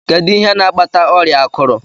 Kedụ ihe n'akpata ọrịa akurụ?